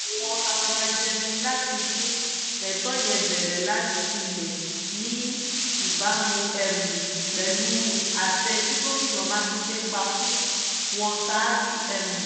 àwọn afọbajẹ ní láti tún ètò yẹn bẹ̀rẹ̀ látilẹ̀ ní ìbámu um pẹ̀lú àṣẹ tí gómìnà mákindé pa fún wọn ṣaájú um